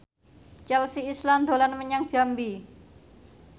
Chelsea Islan dolan menyang Jambi